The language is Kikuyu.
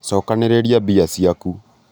cokanĩrĩria mbia ciaku